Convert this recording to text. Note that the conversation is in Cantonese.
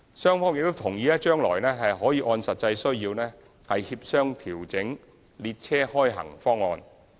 雙方亦同意將來可按實際需要協商調整列車開行方案。